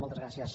moltes gràcies